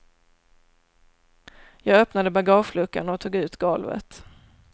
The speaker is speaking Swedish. Jag öppnade bagageluckan och tog ut golvet.